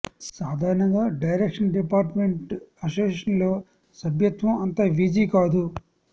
సాధారణంగా direction department association లో సభ్యత్వం అంత వీజీ కాదు